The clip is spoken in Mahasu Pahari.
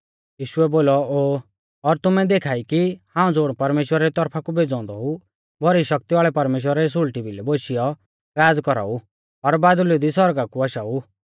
यीशुऐ बोलौ ओ और तुमै देखा ई कि हाऊं ज़ुण परमेश्‍वरा री तौरफा कु भेज़ौ औन्दौ ऊ भौरी शक्ति वाल़ै परमेश्‍वरा री सुल़टी भिलै बोशियौ राज़ कौराउ और बादल़ु दी सौरगा कु आशाऊ